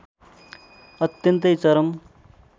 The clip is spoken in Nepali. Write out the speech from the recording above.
अत्यन्तै चरम